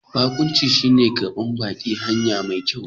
Bakunci shine ƙarban baki a hanya mai kyau.